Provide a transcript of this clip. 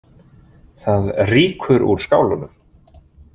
Það rýkur úr skálunum.